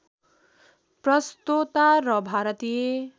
प्रस्तोता र भारतीय